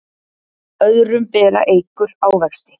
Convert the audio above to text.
Öðrum bera eikur ávexti.